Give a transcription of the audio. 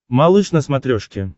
малыш на смотрешке